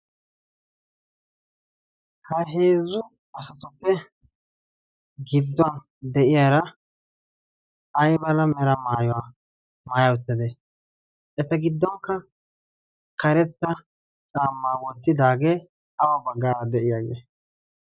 ha heezzu asatuppe gidduwan de'iyaara ay bala mera maayaa maaya uttade eta giddonkka karetta caammaa wottidaagee aba baggaa de'iyaagee,